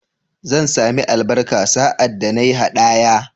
Zan sami albarka sa'ad da na yi haɗaya?